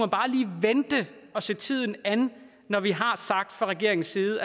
vente og se tiden an når vi fra regeringens side